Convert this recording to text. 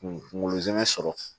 Kunkolo zɛmɛ sɔrɔ